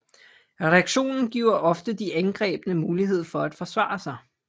Redaktionen giver ofte de angrebne mulighed for at forsvare sig